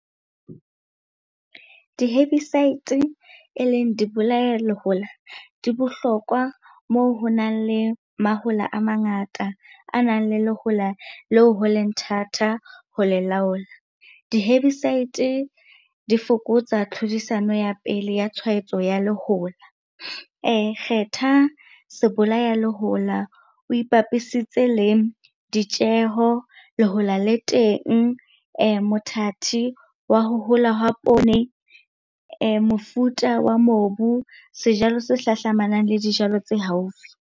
Di-herbicides e leng di bolaya lehola di bohlokwa moo ho nang le mahola a mangata a nang le lehola leo ho leng thata ho le laola. Di-herbicides di fokotsa tlhodisano ya pele ya tshwaetso ya lehola. Kgetha sebolaya lehola o ipapisitse le ditjeho, lehola le teng, mothati wa ho hola ha poone, mofuta wa mobu, sejalo se hlahlamanang le dijalo tse haufi.